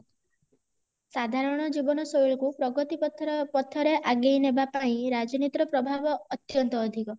ସାଧାରଣ ଜୀବନଶୈଳୀ କୁ ପ୍ରଗତି ପଥରେ ଆଗେଇନେବାପାଇଁ ରାଜନୀତି ର ପ୍ରଭାବ ଅତ୍ୟନ୍ତ ଅଧିକ